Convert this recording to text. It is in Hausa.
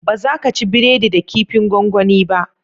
Baza ka ci breadi da kifin gongoni ba